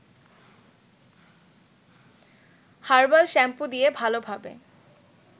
herbal shampoo দিয়ে ভালোভাবে